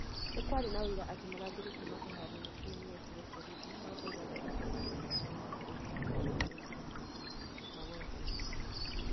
Nĩ kwarĩ na ũira atĩ mũrangĩri kuuma kĩharoinĩ kĩu nĩ eetire borithi no ndaigana gwĩtwo akaheane ũira ũrĩa watũmire eetire borithi", Magolo oigire.